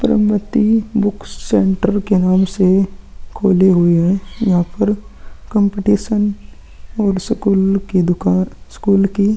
पर्वतीय book centre के नाम से खुले हुए हैं यहां पर कम्पटीशन और स्कूल की दुकान स्कूल की --